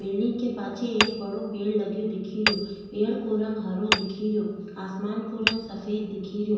Building के पाछे एक बड़ो पेड़ लगो दिखे रियो पेड़ को रंग हरो दिखे रियो आसमान को रंग सफ़ेद दिखे रियो।